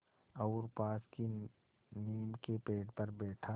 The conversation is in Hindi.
और पास की नीम के पेड़ पर बैठा